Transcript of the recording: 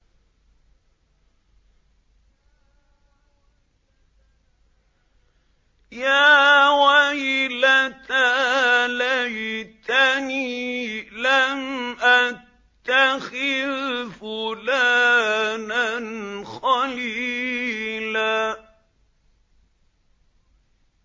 يَا وَيْلَتَىٰ لَيْتَنِي لَمْ أَتَّخِذْ فُلَانًا خَلِيلًا